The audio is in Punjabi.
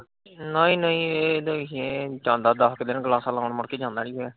ਨਹੀਂ ਨਹੀਂ ਇਹ ਨਹੀਂ, ਦੱਸ ਕ ਦਿਨ ਕਲਾਸਾਂ ਲਾਉਣ ਮੁੜ ਕੇ ਜਾਂਦਾ ਨੀ ਰਿਹਾ।